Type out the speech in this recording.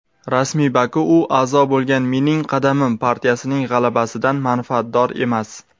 rasmiy Baku u a’zo bo‘lgan "Mening qadamim" partiyasining g‘alabasidan manfaatdor emas.